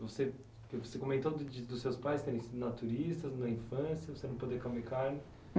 Você você comentou dos seus pais terem sido naturistas na infância, você não poder comer carne.